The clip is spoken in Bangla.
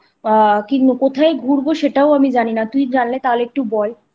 কোথায় ঘুরবো সেটাও আমি জানি না তুই জানলে তাহলে একটু বল